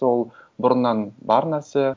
ол бұрыннан бар нәрсе